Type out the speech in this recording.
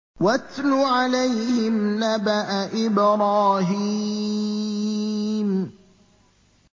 وَاتْلُ عَلَيْهِمْ نَبَأَ إِبْرَاهِيمَ